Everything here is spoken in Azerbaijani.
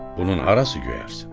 Bunun harası göyərsin?